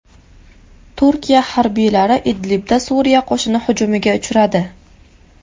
Turkiya harbiylari Idlibda Suriya qo‘shini hujumiga uchradi .